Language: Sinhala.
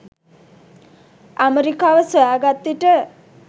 ඇමරිකාව සොයාගත් විට